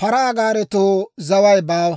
paraa gaaretoo zaway baawa.